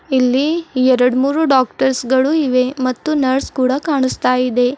ಇಲ್ಲಿ ಎರಡ್ಮುರು ಡಾಕ್ಟರ್ಸ್ ಗಳು ಇವೆ ಮತ್ತು ನರ್ಸ್ ಕೂಡ ಕಾಣಿಸ್ತಾ ಇದೆ.